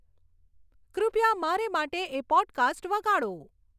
કૃપયા મારે માટે એ પોડકાસ્ટ વગાડો